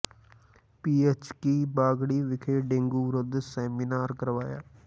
ਪੀ H ਕੀ ਬਾਗੜੀਆਂ ਵਿਖੇ dengue ਵਿਰੁੱਧ ਸੈਮੀਨਾਰ ਕਰਵਾਇਆ